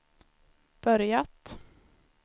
börjat